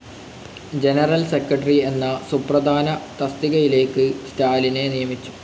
General secretary എന്ന സുപ്രധാന തസ്തികയിലേക്ക് സ്റ്റാലിനെ നിയമിച്ചു.